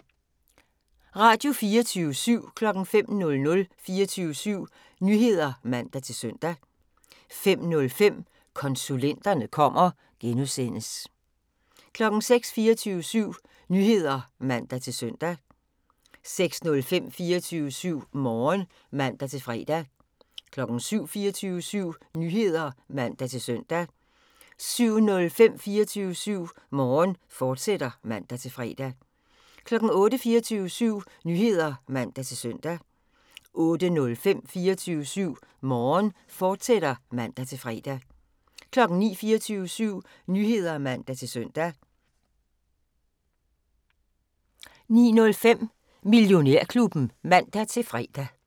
05:00: 24syv Nyheder (man-søn) 05:05: Konsulenterne kommer (G) 06:00: 24syv Nyheder (man-søn) 06:05: 24syv Morgen (man-fre) 07:00: 24syv Nyheder (man-søn) 07:05: 24syv Morgen, fortsat (man-fre) 08:00: 24syv Nyheder (man-søn) 08:05: 24syv Morgen, fortsat (man-fre) 09:00: 24syv Nyheder (man-søn) 09:05: Millionærklubben (man-fre)